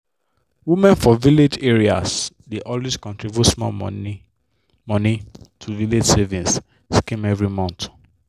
women for village areas dey always contribute small money money to village savings schemes every month.